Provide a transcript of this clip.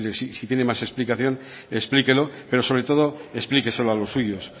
si tiene más explicación explíquelo pero sobre todo explíqueselo a los suyos